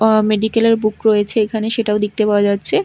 অ মেডিকেল -এর বুক রয়েছে এখানে সেটাও দেখতে পাওয়া যাচ্ছে।